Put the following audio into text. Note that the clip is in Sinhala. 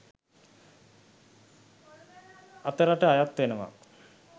අතරට අයත්වනවා.